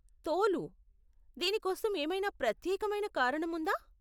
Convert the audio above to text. తోలు? దీనికోసం ఏమైనా ప్రత్యేకమైన కారణం ఉందా?